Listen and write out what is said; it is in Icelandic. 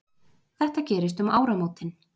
Þetta gerist um áramótin